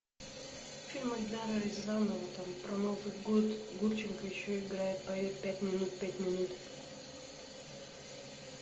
фильм эльдара рязанова там про новый год гурченко еще играет поет пять минут пять минут